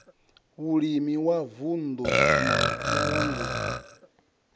vhulimi wa vunddu na vhalanguli